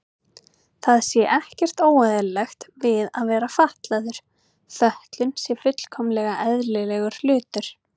Það sé ekkert óeðlilegt við að vera fatlaður, fötlun sé fullkomlega eðlilegur hlutur.